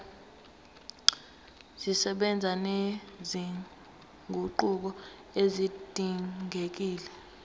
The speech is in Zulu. zisebenza nezinguquko ezidingekile